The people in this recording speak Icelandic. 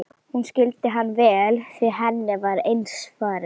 Hún skildi hann vel því henni var eins farið.